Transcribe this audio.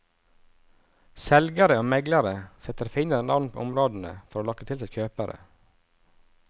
Selgere og meglere setter finere navn på områdene for å lokke til seg kjøpere.